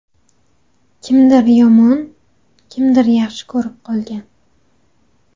Kimdir yomon, kimdir yaxshi ko‘rib qolgan.